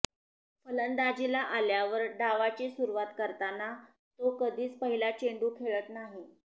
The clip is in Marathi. फलंदाजीला अल्यावर डावाची सुरवात करताना तो कधीच पहिला चेंडू खेळत नाही